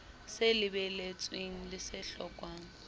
se lebeletsweng le se hlokwang